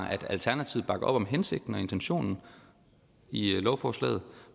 at alternativet bakker op om hensigten og intentionen i lovforslaget